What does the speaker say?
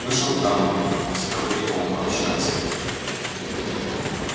вышел в тамбур с проводником пообщаться